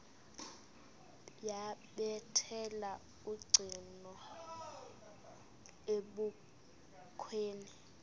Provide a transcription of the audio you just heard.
yabethela ucingo ebukhweni